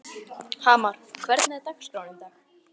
Hamar, hvernig er dagskráin í dag?